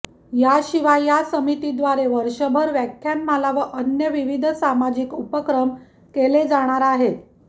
याशिवाय या समितीद्वारे वर्षभर व्याख्यानमाला व अन्य विविध सामाजिक उपक्रम केले जाणार आहेत